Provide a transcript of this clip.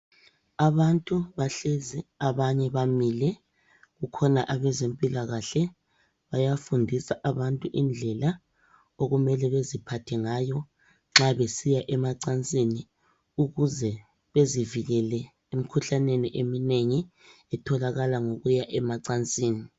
Abantu bahlezi abanye bamile kukhona abezempilakahle , bayafundisa abantu indlela okumele beziphathe ngayo nxa besiya emacansini, ukuze bezivikele emkhuhlaneni eminengi etholakala ngokuya emacansini.